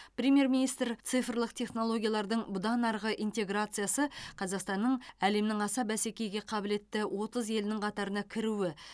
премьер министр цифрлық технологиялардың бұдан арғы интеграциясы қазақстанның әлемнің аса бәсекеге қабілетті отыз елінің қатарына кіруі